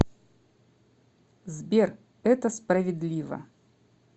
сбер это справедливо